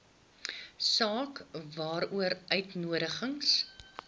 saak waaroor uitnodigings